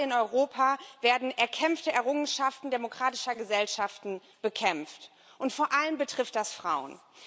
Überall in Europa werden erkämpfte Errungenschaften demokratischer Gesellschaften bekämpft, und vor allem betrifft das Frauen.